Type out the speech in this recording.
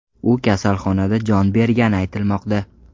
U kasalxonada jon bergani aytilmoqda.